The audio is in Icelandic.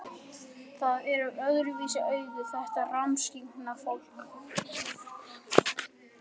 Það er með öðruvísi augu, þetta rammskyggna fólk.